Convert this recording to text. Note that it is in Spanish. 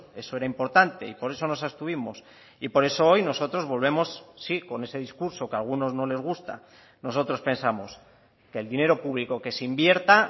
eso era importante y por eso nos abstuvimos y por eso hoy nosotros volvemos sí con ese discurso que a algunos no les gusta nosotros pensamos que el dinero público que se invierta